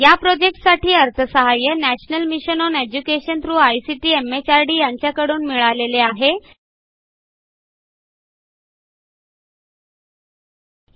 या प्रॉजेक्ट साठी national mission on education through ICT MHRD यांच्याकडून अर्थसहाय्य मिळालेले आहे